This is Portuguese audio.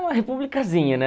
É uma republicazinha, né?